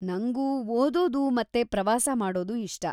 ನಂಗೂ ಓದೋದು ಮತ್ತೇ ಪ್ರವಾಸ ಮಾಡೋದು ಇಷ್ಟ.